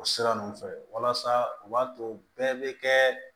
O sira ninnu fɛ walasa u b'a to bɛɛ bɛ kɛ